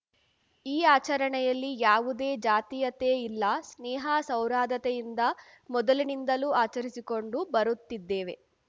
ಈ ಆಚರಣೆಯಲ್ಲಿ ಯಾವುದೇ ಜಾತಿಯತೆ ಇಲ್ಲ ಸ್ನೇಹ ಸೌರಾದತೆಯಿಂದ ಮೊದಲಿನಿಂದಲು ಆಚರಿಸಿಕೊಂಡು ಬರುತ್ತಿದ್ದೇವೆ